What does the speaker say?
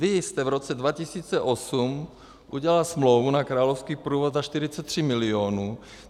Vy jste v roce 2008 udělal smlouvu na královský průvod za 43 milionů.